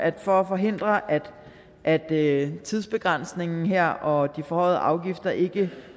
at forhindre at at tidsbegrænsningen her og de forhøjede afgifter ikke